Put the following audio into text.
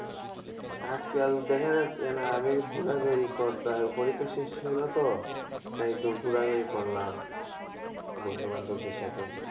আজকাল দেখা যাচ্ছে না আমি ঘোরাঘুরি করতে পরীক্ষা শেষ হলো তো? তাই একটু ঘোরাঘুরি করলাম, বন্ধুবান্ধব দের সাথে।